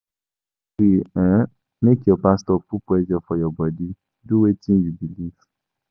No gree um make your pastor put pressure for your bodi, do wetin you believe.